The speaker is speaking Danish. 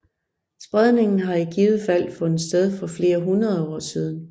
Spredningen har i givet fald fundet sted for flere hundrede år siden